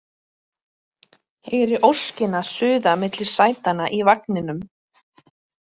Heyri óskina suða milli sætanna í vagninum: